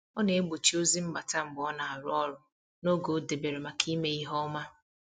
Ọ na-egbochi ozi mbata mgbe ọ na-arụ ọrụ n’oge o debere maka ime ihe ọma.